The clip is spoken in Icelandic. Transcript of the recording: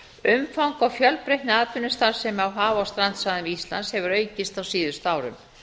umfang og fjölbreytni atvinnustarfsemi á haf og strandsvæðum íslands hefur aukist á síðustu árum